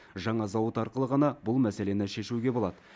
жаңа зауыт арқылы ғана бұл мәселені шешуге болады